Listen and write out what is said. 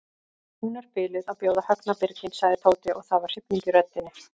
Hún er biluð að bjóða Högna birginn sagði Tóti og það var hrifning í röddinni.